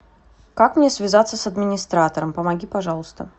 как мне связаться с администратором помоги пожалуйста